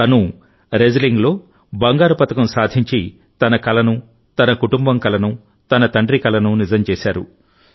తనూ రెజ్లింగ్లో బంగారు పతకం సాధించి తన కలను తన కుటుంబం కలను తన తండ్రి కలను నిజం చేశారు